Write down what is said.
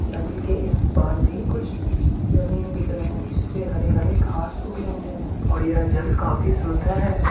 नदी के इस पार भी कुछ जमीन दिख रहे हैं जिस पे हरे-हरे घास उगे हुए हैं और यह जल काफी शुद्ध है।